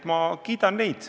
Mina kiidan neid.